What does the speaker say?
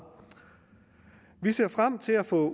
vi ser frem til at få